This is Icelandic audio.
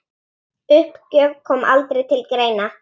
Uppgjöf kom aldrei til greina.